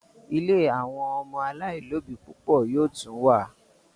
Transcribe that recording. ílé àwọn ọmọ alailòbí púpọ yoo tún wá